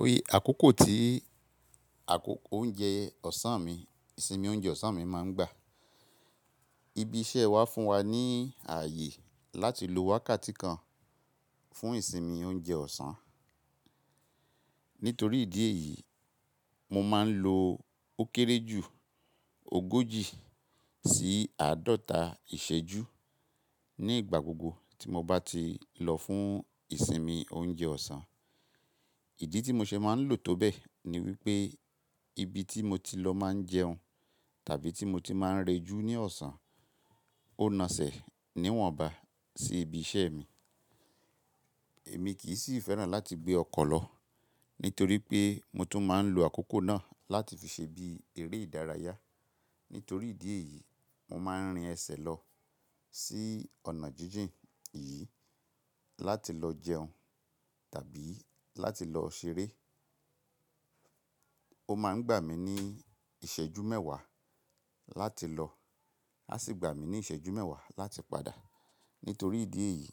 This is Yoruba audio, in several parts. Oye àkókò tí àkókò oúnjẹ ọ̀sán mi, ìsinmi oúnjẹ ọ̀sán mi máa ń gbà. Ibi iṣẹ́ wa fún wa ní ààyè láti lo wákàtí kan fún ìsinmi oúnjẹ ọ̀sán. Nítorí ìdí èyí, mo máa ń lo ó kéré jù ogójì sí àádọ́ta ìṣẹ́jú ní ìgbà gbogbo tí mo bá ti lọ fún ìsinmi oúnjẹ ọ̀sán. Ìdí tí mo ṣe máa ń lò tó bẹ́ẹ̀ ni wípé ibi tí mo ti lọ máa ń jẹun tàbí tí mo ti máa ń rejú ní ọ̀sán ó naṣẹ̀ níwọ̀nba sí ibi iṣẹ́ mi. Èmi kì í sì fẹ́ràn láti gbé ọkọ̀ lọ, nítorí pé mo tún máa ń lo àkókò náà láti fi ṣe bí eré ìdárayá. Nítorí ìdí èyí, mo máa ń rin ẹsẹ̀ lọ sí ọ̀nà jíjìn yìí láti lọ jẹun tàbí láti lọ ṣeré. Ó máa ń gbà mí ní ìṣẹ́jú mẹ́wàá láti lọ, a sì gbà mí ní ìṣẹ́jú mẹ́wàá láti padà. Nítorí ìdí èyí,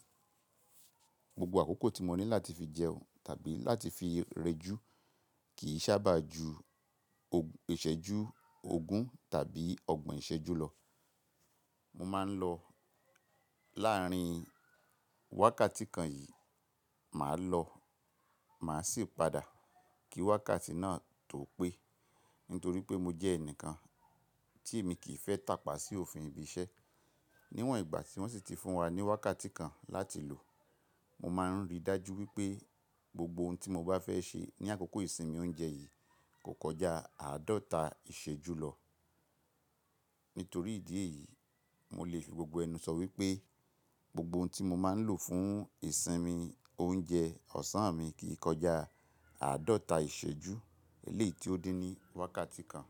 gbogbo àkókò tí mo ní láti fi jẹun tàbí láti fi rejú kì í sábà ju ìṣẹ́jú ogún tàbí ọgbọ̀n ìṣẹ́jú lọ. Mo máa ń lọ láàárín wákàtí kan yìí, màá lọ, màá sì padà kí wákàtí náà tó pé. Nítorí pé mo jẹ́ ẹnìkan tí èmi kì í fẹ́ tàpá sí òfin ibi iṣẹ́. Níwọ̀n ìgbà tí wọ́n sì ti fún wa ní wákàtí kan láti lò, mo máa ń rí dájú wípé gbogbo ohun tí mo bá fẹ́ ṣe ní àkókò ìsinmi oúnjẹ yìí kò kọjá àádọ́ta ìṣẹ́jú lọ. Nítorí ìdí èyí, mo lè sọ gbogbo ẹnu sọ wípé gbogbo ohun tí mo máa ń lò fún ìsinmi oúnjẹ ọ̀sán mi kì í kọjá àádọ́ta ìṣẹ́jú eléyìí tí ó dín ní wákàtí kan.